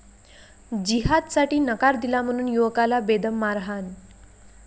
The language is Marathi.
जिहादसाठी नकार दिला म्हणून युवकाला बेदम मारहाण